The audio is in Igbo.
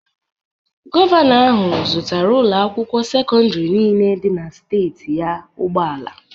Govanọ ahu zụtara ụloakwụkwo secọndarị nille di na steetị ya ụgbọala.